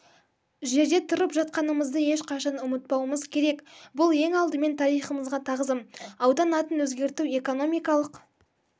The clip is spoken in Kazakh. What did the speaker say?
жерде тұрып жатқанымызды ешқашан ұмытпауымыз керек бұл ең алдымен тарихымызға тағзым аудан атын өзгерту экономикалық